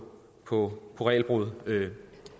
på regelbrud